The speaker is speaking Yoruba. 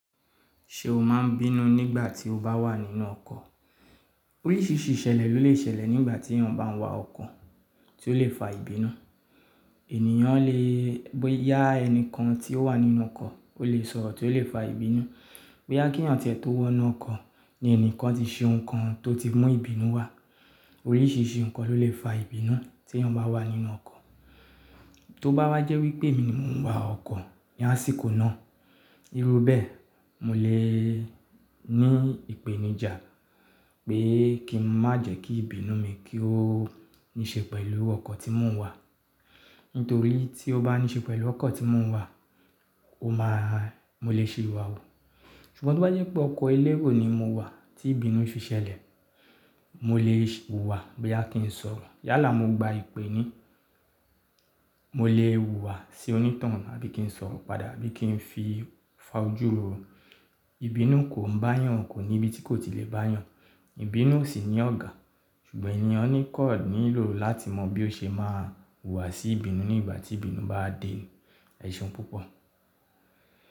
Ṣé o máa ń bínú nígbà tí o bá wà nínú ọkọ̀? Oríṣìíríṣìí ìṣẹ̀lẹ̀, ló lè ṣẹlẹ̀ nígbà tí èèyàn bá ń wa ọkọ̀ tí ó lè fa ìbínú. Ènìyàn lè, boya ẹni kan tí ó wà nínú ọkọ̀, ó lè sọ̀rọ̀ tí ó lè fa ìbínú. Boya kí ẹ̀yàn tẹ̀ tó wọ̀nú ọkọ̀, ní ẹnìkan ti ṣe ohun kan tó ti mú ìbínú wá. Oríṣìíríṣìí nǹkan ló lè fa ìbínú tí èèyàn bá wà nínú ọkọ̀. Tó bá wá jẹ́ wípé mi ni mò ń wà ọkọ̀ ní àsìkò náà, irú bẹ́ẹ̀, mò lè ní ìpèníjà pé kí n má jẹ́ kí ìbínú mi kí ó ní ṣe pẹ̀lú ọkọ̀ tí mò ń wà. Nítorí tí ó bá ní ṣe pẹ̀lú ọkọ̀ tí mò ń wà, ó máa, mò lè ṣi ìwà wu. Ṣùgbọ́n tí ó bá jẹ́ pé ọkọ̀ elérò ni mò wà tí ìbínú fi ṣẹlẹ̀, mò lè wùwà bí à kí ń sọ̀rọ̀. Yálà mò gba ìpè ni, mò lè wùwà sí onítoun abí kí ń sọ̀rọ̀ padà, abí kí ń fi fà ojú ro. Ìbínú kò ń bá yàn, kò ní ibi tí kò tí lè bá yàn. Ìbínú ò sì ní ọ̀gà. Eèyàn kan nílò láti mọ bí ó ṣe máa wùwà sí ìbínú nígbà tí ìbínú bá dé ẹ̀ṣeun púpọ̀.